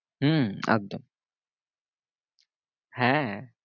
হম একদম হ্যাঁ